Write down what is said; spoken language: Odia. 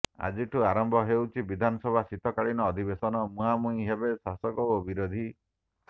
ଆଜିଠୁ ଆରମ୍ଭ ହେଉଛି ବିଧାନସଭା ଶୀତକାଳୀନ ଅଧିବେଶନ ମୁହାଁମୁହିଁ ହେବେ ଶାସକ ଓ ବିରୋଧୀ